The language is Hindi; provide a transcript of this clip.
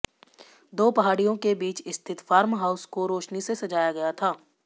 दो पहाड़ियों के बीच स्थित फार्म हाउस को रोशनी से सजाया गया था